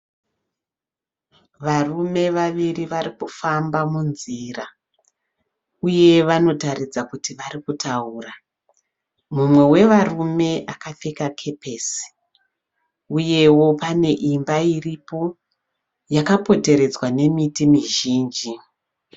Varume vaviri vari kufamba munzira uye vanotaridza kuti vari kutaura. Umwe wevarume akapfeka kepesi uyewo pane imba iripo yakapoteredzwa nemiti mizhinji.